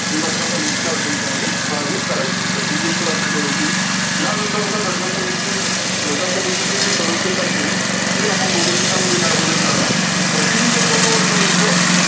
ते घटना समितीच्या अध्यक्ष म्हणून कार्य करायचे. त्यानंतर जी गोष्ट लक्षात ठेवायची यानंतर आता घटना समितीचे घटना समितीचे सदस्य ते आपण बघू त्याच्यामध्ये काय बदल झाला तर ते तीनशे एकोन्नवद